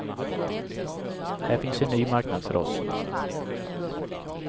Här finns en ny marknad för oss.